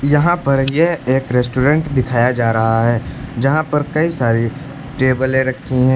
यहां पर ये एक रेस्टोरेंट दिखाया जा रहा है जहां पर कई सारी टेबले रखी है।